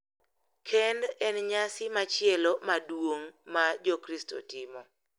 Kend en nyasi machielo maduong’ ma Jokristo timo, .